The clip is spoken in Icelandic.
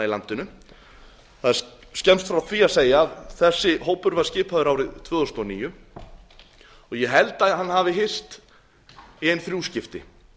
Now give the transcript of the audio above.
landinu það er skemmst frá því að segja að þessi hópur var skipaður árið tvö þúsund og níu og ég held að hann hafi hist í ein þrjú skipti